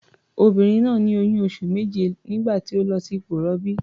Onìnrin náà ní oyún oṣù méje nígbà tó lọ sí ipò ìrọbí.